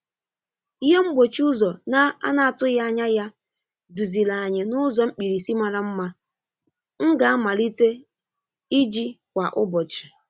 Ihe mgbochi ụzọ na-anatughị anya ya duziri anyị n'ụzọ mkpirisi mara mma m ga-amalite iji kwa ụbọchị.